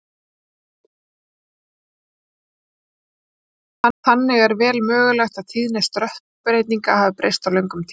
Þannig er vel mögulegt að tíðni stökkbreytinga hafi breyst á löngum tíma.